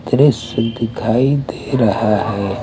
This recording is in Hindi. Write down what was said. दृश्य दिखाई दे रहा है ।